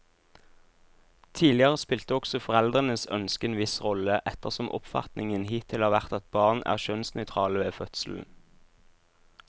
Tidligere spilte også foreldrenes ønske en viss rolle, ettersom oppfatningen hittil har vært at barn er kjønnsnøytrale ved fødselen.